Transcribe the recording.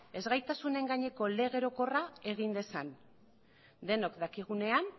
ezgaitasun gaineko lege orokorra egin dezan denok dakigunean